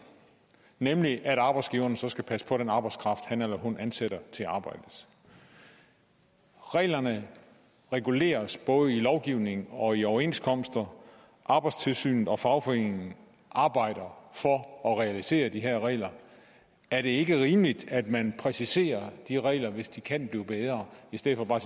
nemlig at arbejdsgiveren så skal passe på den arbejdskraft han eller hun ansætter til arbejdet reglerne reguleres både gennem lovgivning og i overenskomster arbejdstilsynet og fagforeningerne arbejder for at realisere de her regler er det ikke rimeligt at man præciserer de regler hvis de kan blive bedre i stedet for bare